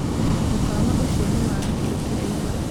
mũkawa ũcio nĩ wa gĩkĩro kĩa igũrũ